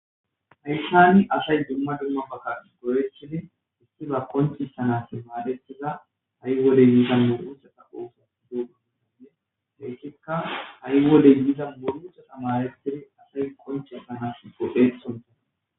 Hayssani asay dumma dumma bagka gorechini isti ba konchisanas maadetiza ha'i wolley yiizan muruchata qooso googoiinne heyssikka ha'i woley yiiza borucha samaretidi asay konchesanas gohe sunta